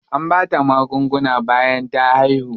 An bata magunguna bayan ta haihu.